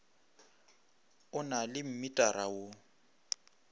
o na le mmitara wo